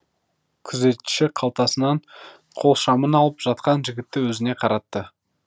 күзетші қалтасынан қол шамын алып жатқан жігітті өзіне қаратты